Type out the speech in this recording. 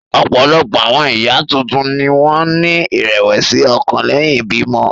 Ọ̀pọ̀lọpọ̀ àwọn ìyá tuntun ni wọ́n ní ìrẹ̀wẹ̀sì ọkàn lẹ́yìn ìbímọ.